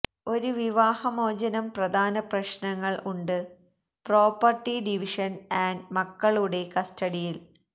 ഒരു വിവാഹമോചനം പ്രധാന പ്രശ്നങ്ങൾ ഉണ്ട് പ്രോപ്പർട്ടി ഡിവിഷൻ ആൻഡ് മക്കളുടെ കസ്റ്റഡിയിൽ